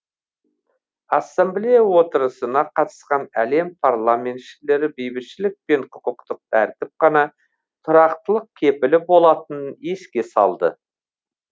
ассамблея отырысына қатысқан әлем парламентшілері бейбітшілік пен құқықтық тәртіп қана тұрақтылық кепілі болатынын еске салды